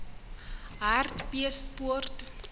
hartbeespoort